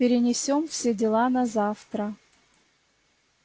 перенесём все дела на завтра